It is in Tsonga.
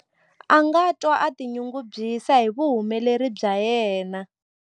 A nga twa a tinyungubyisa hi vuhumeleri bya yena.